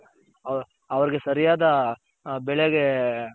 ಅವರ್ಗೆ ಸರಿಯಾದ ಬೆಳೆಗೆ